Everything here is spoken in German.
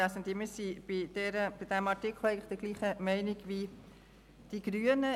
Wir sind betreffend diesen Artikel der gleichen Meinung wie die Grünen.